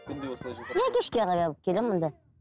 күнде осылай жасап иә кешке қарай келемін мұнда